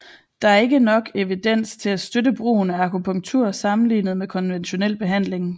Der er ikke nok evidens til at støtte brugen af akupunktur sammenlignet med konventionel behandling